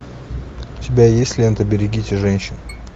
у тебя есть лента берегите женщин